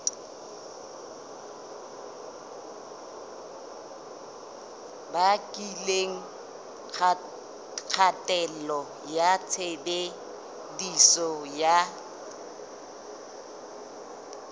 bakileng kgatello ya tshebediso ya